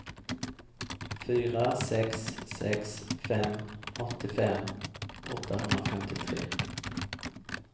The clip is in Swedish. fyra sex sex fem åttiofem åttahundrafemtiotre